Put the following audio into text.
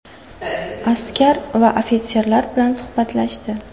Askar va ofitserlar bilan suhbatlashdi.